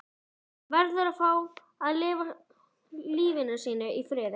Hann verður að fá að lifa sínu lífi í friði.